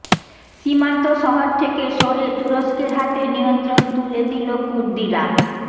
সীমান্ত শহর থেকে সরে তুরস্কের হাতে নিয়ন্ত্রণ তুলে দিল কুর্দিরা